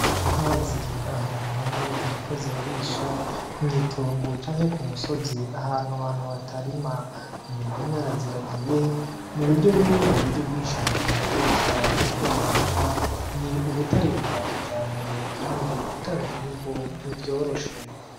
Inka ziri ahantu hamwe ziriko zirarisha mwitongo canke kumusozi ahantu abantu batarima, umuntu umwe araziragiye n'uburyo bumwe muburyo bwinshi abantu bakoresha mukworora inka ni ubutare bwakijambere kandi gutanga umwimbu ntivyoroshe.